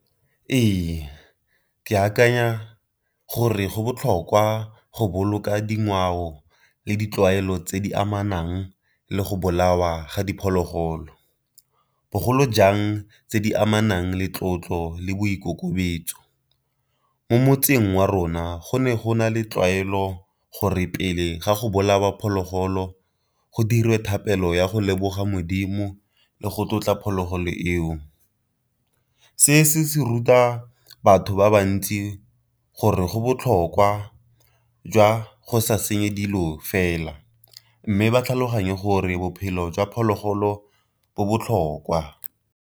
Ee ke akanya gore go botlhokwa go boloka dingwao le ditlwaelo tse di amanang le go bolawa ga diphologolo, bogolo jang tse di amanang le tlotlo le boikutlo kolobetso. Mo motseng wa rona go ne go na le tlwaelo gore pele ga go bolaya phologolo go dirwe thapelo ya go leboga modimo le go tlotla phologolo eo. Se se ruta batho ba ba ntsi gore go botlhokwa jwa go sa senye dilo fela, mme ba tlhaloganye gore bophelo jwa phologolo bo botlhokwa.